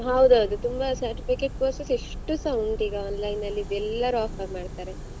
ಹೌದೌದು ತುಂಬ certificate courses ಎಷ್ಟುಸ ಉಂಟು ಈಗ online ಅಲ್ಲಿ ಎಲ್ಲರು offer ಮಾಡ್ತಾರೆ.